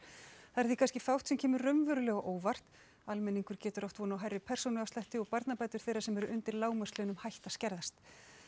þar er því kannski fátt sem kemur raunverulega á óvart almenningur getur átt von á hærri persónuafslætti og barnabætur þeirra sem eru undir lágmarkslaunum hætta að skerðast